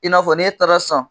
I n'a fɔ n'e taara sisan